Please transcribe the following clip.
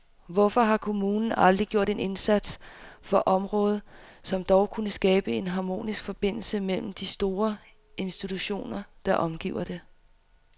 Hvorfor har kommunen aldrig gjort en indsats for området, som dog kunne skabe en harmonisk forbindelse mellem de store institutioner, der omgiver det?